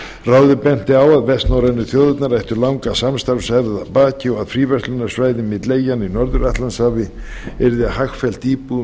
ráðið benti á að vestnorrænu þjóðirnar ættu langa samstarfshefð að baki og að fríverslunarsvæði milli eyjanna í norður atlantshafi væri hagfellt íbúum